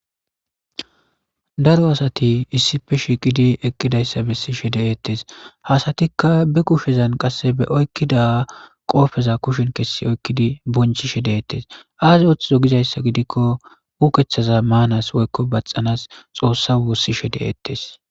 Daro asati issibolla gididi eqidayisa beses ha asatika be gupeza oyikida qaska be kopeza kusheni kesi oyikidi bonchishe detes ayi othozo gidaysa gidiko ukethaza manas woyiko bathanas xoossa wosishe de'es